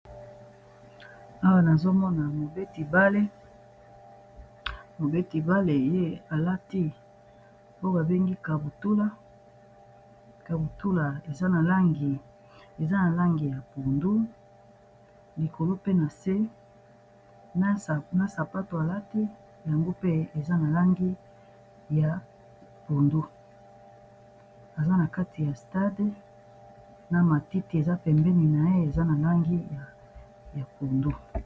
Awa nazomona mobeti bale, alati babengi kabutula eza na langi ya pundu, likolo pe na se na sapato alati yango pe eza na langi ya pondu, aza na kati ya stade na matiti eza pembeni na ye eza na langi ya pundu.